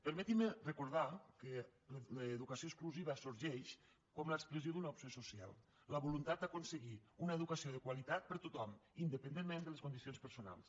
permetinme recordar que l’educació inclusiva sorgeix com l’expressió d’una opció social la voluntat d’aconseguir una educació de qualitat per a tothom independentment de les condicions personals